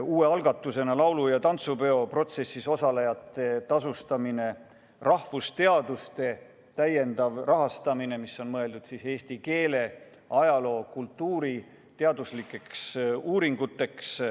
Uus algatus on laulu- ja tantsupeo protsessis osalejate tasustamine, rahvusteaduste täiendav rahastamine, mis on mõeldud eesti keele, ajaloo ja kultuuri teaduslikeks uuringuteks.